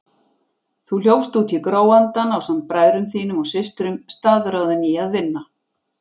Þú hljópst út í gróandann ásamt bræðrum þínum og systrum, staðráðinn í að vinna.